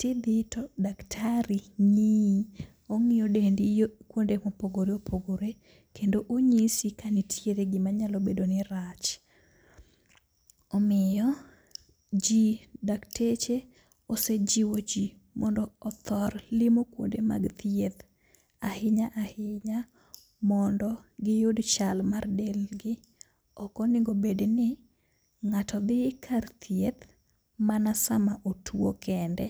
tidhi to daktari ng'iyi. Ong'iyo dendi yo kuonde mopogore opogore, kendo onyisi ka nitiere gima nyalo bedo ni rach. Omiyo ji dakteche ose jiwo ji mondo othor limo kuonde mag thieth, ahinya ahinya mondo giyud chal mar del gi. Okonego bedni ng'ato dhi kar thieth, mana sama otuo kende.